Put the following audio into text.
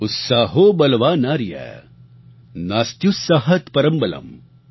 उत्साहो बलवानार्य नास्त्युत्साहात्परं बलम् |